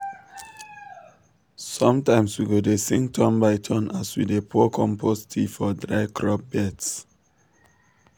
sometimes we go dey sing turn by turn as we dey pour compost tea for dry crop beds.